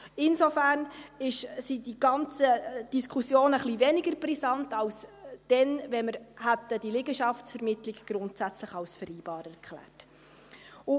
Insofern sind diese ganzen Diskussionen ein bisschen weniger brisant als dann, wenn wir die Liegenschaftsvermittlung grundsätzlich als vereinbar erklärt hätten.